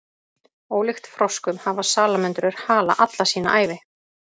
Ólíkt froskum hafa salamöndrur hala alla sína ævi.